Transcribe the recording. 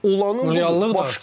Olanın başqadır.